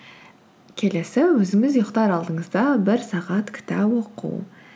келесі өзіңіз ұйықтар алдыңызда бір сағат кітап оқу